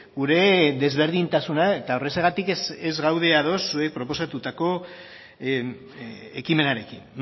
gure desberdintasuna eta horrexegatik ez gaude ados zuek proposatutako ekimenarekin